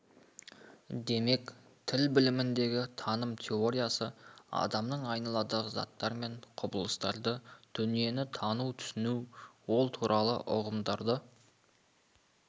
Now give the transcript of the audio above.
демек тіл біліміндегі таным теориясы адамның айналадағы заттар мен құбылыстарды дүниені тану түсіну ол туралы ұғымдарды